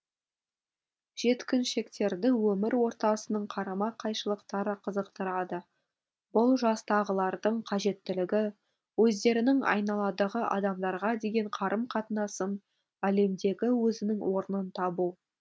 жеткіншектерді өмір ортасының қарама қайшылықтары қызықтырады бұл жастағылардың қажеттілігі өздерінің айналадағы адамдарға деген қарым қатынасын әлемдегі өзінің орнын табу